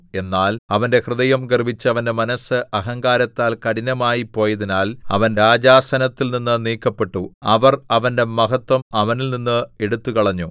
എന്നാൽ അവന്റെ ഹൃദയം ഗർവ്വിച്ച് അവന്റെ മനസ്സ് അഹങ്കാരത്താൽ കഠിനമായിപ്പോയതിനാൽ അവൻ രാജാസനത്തിൽനിന്ന് നീക്കപ്പെട്ടു അവർ അവന്റെ മഹത്വം അവനിൽനിന്ന് എടുത്തുകളഞ്ഞു